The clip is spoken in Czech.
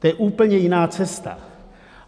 To je úplně jiná cesta.